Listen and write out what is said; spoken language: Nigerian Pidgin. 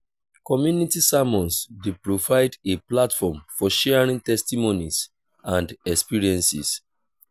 community sermons dey provide a platform for sharing testimonies and experiences.